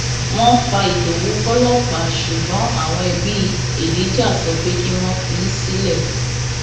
wọn fa ìdòwú fọlọpàá ṣùgbọn àwọn ẹbí elijah sọ pé kí wọn fi í sílẹ